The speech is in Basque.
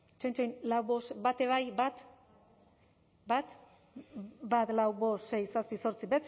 tzen tzen lau bost bat eh bai bat bat bat lau bost sei zazpi zortzi